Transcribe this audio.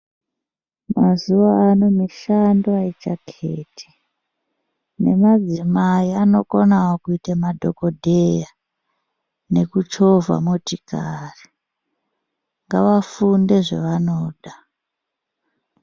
Mazuva ano mishando haichaketi nemadzimai anokonavo kuite madhogodheya. Nekuchovha motikari ngevafunde zvavanoda.